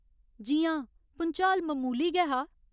जी हां, भुंचाल ममूली गै हा।